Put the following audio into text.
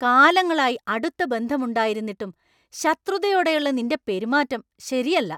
കാലങ്ങളായി അടുത്ത ബന്ധം ഉണ്ടായിരുന്നിട്ടും ശത്രുതയോടെയുള്ള നിന്‍റെ പെരുമാറ്റം ശരിയല്ല.